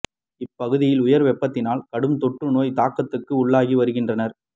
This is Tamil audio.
இப்பகுதியில் உயர் வெப்பத்தினால் கடும் தொற்று நோய்த் தாக்கத்துக்கு உள்ளாகி வருகின்றனர்